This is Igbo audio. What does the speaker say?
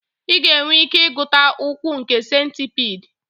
Ị ga-enwe ike ịgụta ụkwụ nke centipede